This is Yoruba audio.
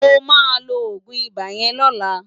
Mo ma lo Ogun iba yen lola